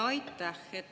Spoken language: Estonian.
Aitäh!